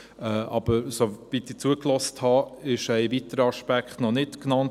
Aber soweit ich zugehört habe, wurde ein weiterer Aspekt noch nicht genannt.